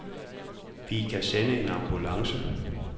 Vi kan sende en ambulance.